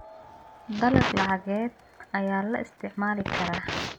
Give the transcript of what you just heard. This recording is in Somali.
Dalag lacageed ayaa la isticmaali karaa.